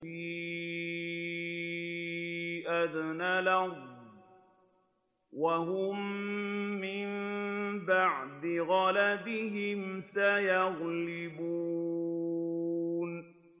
فِي أَدْنَى الْأَرْضِ وَهُم مِّن بَعْدِ غَلَبِهِمْ سَيَغْلِبُونَ